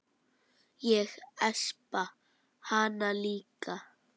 Ég espa hana líka.